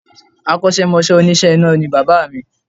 Akọ́sẹ́mọsẹ́ òníṣe iná ni bàbá mi